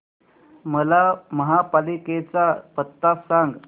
मला महापालिकेचा पत्ता सांग